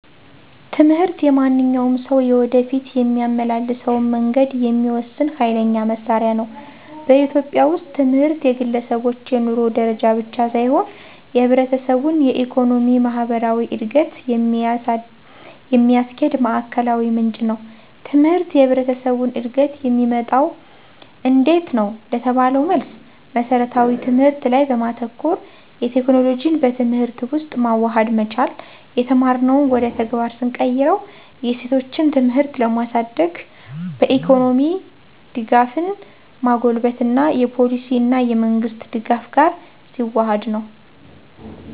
ትምህርት የማንኛውም ሰው የወደፊት የሚያመላልሰውን መንገድ የሚወስን ኋይለኛ መሳሪያ ነው። በኢትዮጵያ ውስጥ ትምህርት የግለሰቦች የኑሮ ደረጃ ብቻ ሳይሆን የህብረተሰቡን የኢኮኖሚ፣ ማህበራዊ እድገት የሚያስኪድ ማዕከላዊ ምንጭ ነው። ትምህርት የህብረተሰቡን እድገት የሚመጣው እንዴት ነው? ለተባለው መልስ መስረታዊ ትምህርት ላይ በማተኮር፣ የቴክኖሎጂን በትምህርት ውስጥ ማዋሃድ መቻል፣ የተማርነውን ወደ ተግባር ስንቀይርው፣ የሴቶችን ትምህርት ለማሳድግ፣ በኢኮኖሚ ደጋፍን ማጎልበት እና የፓሊሲ እና የመንግሥት ደጋፍ ጋር ሲዋሀድ ነው።